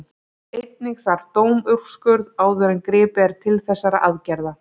Einnig þarf dómsúrskurð áður en gripið er til þessara aðgerða.